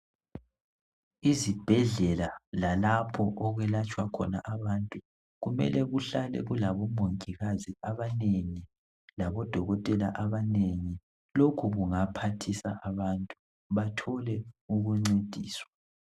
izibhedlela lalpho kwelatshwa khona abantu kumele kuhale kulabo mongikazi abanengi labo dokotela abanengi lokhu kungaphathisa abantu bathole ukuncediswa